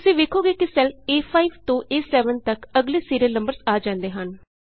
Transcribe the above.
ਤੁਸੀਂ ਵੇਖੋਗੇ ਕਿ ਸੈੱਲ ਏ5 ਤੋਂ ਏ7 ਤਕ ਅਗਲੇ ਸੀਰੀਅਲ ਨੰਬਰਜ਼ ਆ ਜਾਂਦੇ ਹਨ